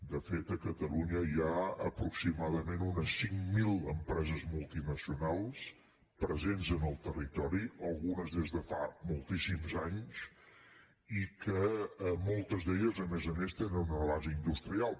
de fet a catalunya hi ha aproximadament unes cinc mil empreses multinacionals presents en el territori algunes des de fa moltíssims anys i moltes a més a més tenen una base industrial